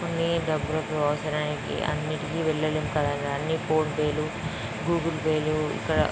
కొని డబ్బులకి అవసరానికి అన్నింటికీ వెళ్లలేం కదన్న. అనీ ఫోన్ పే లు గూగుల్ పే లు ఇక్కడ--